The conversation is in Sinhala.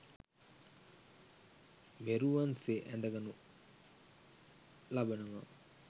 මෙරුවන් සේ ඇඳ ගනු ලබනවා.